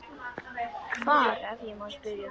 Hvar, ef ég má spyrja?